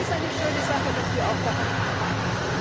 Und es ist eine schöne Sache, dass wir auch daran arbeiten.